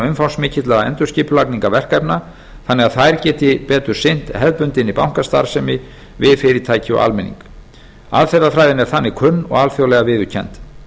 umfangsmikilla endurskipulagningarverkefna þannig að þær geti betur sinnt hefðbundinni bankastarfsemi við fyrirtæki og almenning aðferðafræðin er þannig kunn og alþjóðlega viðurkennd